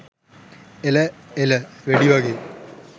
එල එල.වෙඩි වගේ